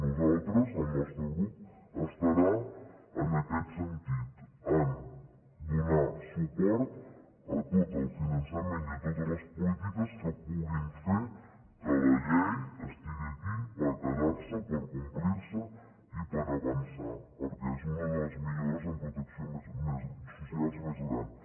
nosaltres el nostre grup estarà en aquest sentit a donar suport a tot el finançament i a totes les polítiques que puguin fer que la llei estigui aquí per quedar s’hi per complir se i per avançar perquè és una de les millores en protecció social més grans